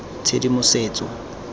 tshedimosetso